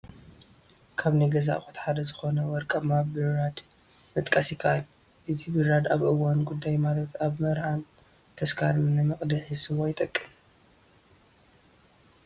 ካብ ናይ ገዛ ኣቑሑት ሓደ ዝኾነ ወርቃማ ብራድ መጥቃስ ይካኣል፡፡ እዚ ብራድ ኣብ እዋን ጉዳይ ማለት ኣብ መርዓን ተስካርን ንመቕድሒ ስዋ ይጠቅም፡፡